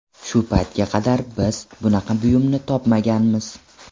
Shu paytga qadar biz bunaqa buyumni topmaganmiz.